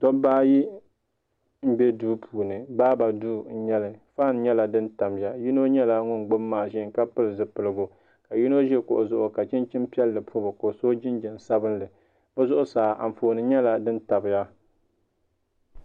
dobba ayi n-be duu puuni baaba duu n-nyɛ li faan nyɛla din tamiya yino nyɛla ŋun gbubi maaʒin ka pili zipiligu ka yino ʒi kuɣu zuɣu ka chinchini piɛlli pɔbi o ka o so jinjɛm sabinlli o zuɣusaa anfooni nyɛla din tabiya